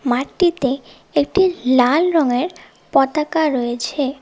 মাটটিতে একটি লাল রঙের পতাকা রয়েছে।